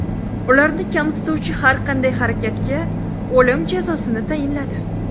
Ularni kamsituvchi har qanday harakatga o‘lim jazosini tayinladi .